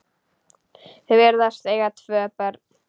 Þau virðast eiga tvö börn.